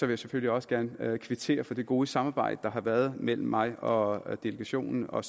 jeg selvfølgelig også gerne kvittere for det gode samarbejde der har været mellem mig og delegationen og